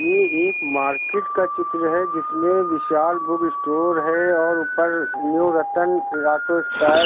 ये एक मार्केट का चित्र है जिसमें विशाल बुक स्टोर है और ऊपर न्यू रतन है।